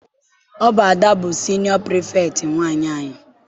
Ọ bụ Ada bụ siniọ Pirifetktị nwaanyị anyị.